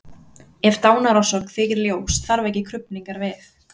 Ef dánarorsök þykir ljós þarf ekki krufningar við.